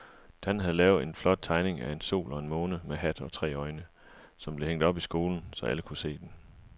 Dan havde lavet en flot tegning af en sol og en måne med hat og tre øjne, som blev hængt op i skolen, så alle kunne se den.